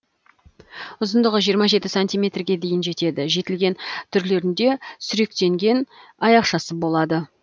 ұзындығы жиырма жеті сантиметрге дейін жетеді жетілген түрлерінде сүректенген аяқшасы болады